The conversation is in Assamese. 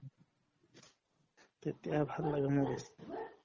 তেতিয়া ভাল লাগে movies